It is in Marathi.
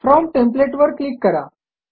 फ्रॉम टेम्पलेट वर क्लिक करा